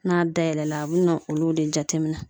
N'a dayɛlɛla a bɛ na olu de jateminɛ.